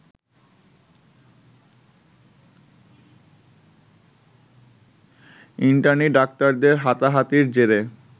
internee ডাক্তারদের হাতাহাতির জেরে